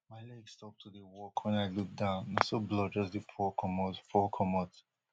my leg stop to dey work wen i look down na so blood just dey pour comot pour comot